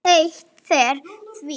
Ég heiti þér því.